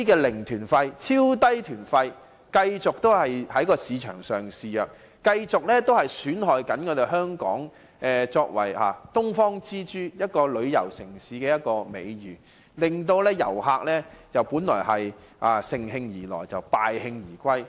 零團費和超低團費等問題繼續在市場上肆虐，損害香港作為"東方之珠"旅遊城市的美譽，令旅客本來乘興而來，卻敗興而返。